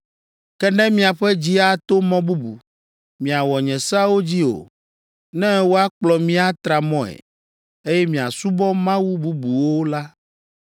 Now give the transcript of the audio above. Ke ne miaƒe dzi ato mɔ bubu, miawɔ nye seawo dzi o, ne woakplɔ mi atra mɔe, eye miasubɔ mawu bubuwo la,